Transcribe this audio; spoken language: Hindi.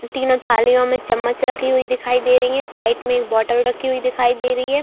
तीनों थालियों में चम्मच रखी हुई दिखाई दे रही हैं साइड में बोटल रखी हुई दिखाई दे रही है।